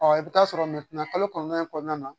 i bi taa sɔrɔ kalo kɔnɔdɔn in na kɔnɔna na